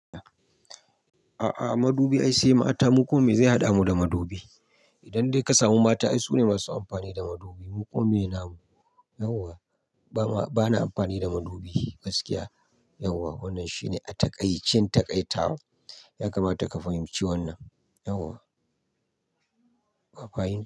A'a, madubi ai sai mata. Mu kuma me zai haɗa mu da madubi? Idan dai ka samu mata ai su ne masu amfani da madubi. Mu kuma me namu, yauwa bama bana amfani da madubi gaskiya, yauwa. Wannan shi ne a taƙaicen taƙaita. Yakamata ka fahimci wannan, yauwa. Ba faye.